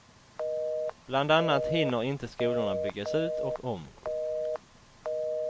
Bland annat hinner inte skolorna byggas ut och om.